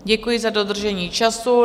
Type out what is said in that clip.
Děkuji za dodržení času.